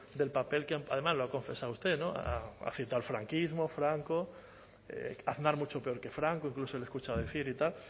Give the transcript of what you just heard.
del papel que además lo ha confesado usted ha citado el franquismo franco aznar mucho peor que franco incluso le he escuchado decir y tal